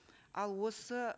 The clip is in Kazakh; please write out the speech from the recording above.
ал осы